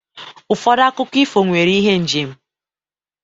Ụfọdụ akụkọ ifo nwere ihe njem.